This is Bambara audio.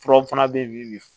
Furaw fana bɛ yen bi